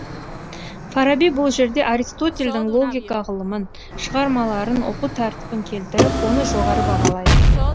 фараби бұл жерде аристотельдің логика ғылымын шығармаларын оқу тәртібін келтіріп оны жоғары бағалайды